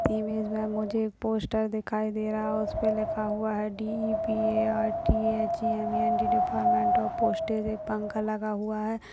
Image मुझे एक poster दिखाई दे रहा है और उसपे लिखा हुआ है D E P A R T H M E N T department of posts एक पंखा लगा हुआ है।